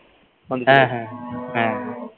হ্যাঁ হ্যাঁ হ্যাঁ